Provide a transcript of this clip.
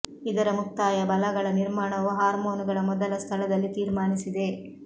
ಇದರ ಮುಕ್ತಾಯ ಬಲ ಗಳ ನಿರ್ಮಾಣವು ಹಾರ್ಮೋನುಗಳ ಮೊದಲ ಸ್ಥಳದಲ್ಲಿ ತೀರ್ಮಾನಿಸಿದೆ